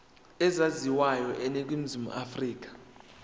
ezaziwayo eningizimu afrika